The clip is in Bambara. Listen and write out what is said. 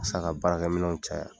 Sisan ka baarakɛminw caya .